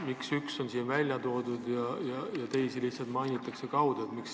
Miks üks spordiala on välja toodud ja teisi lihtsalt peetakse kaude silmas?